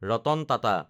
Ratan Tata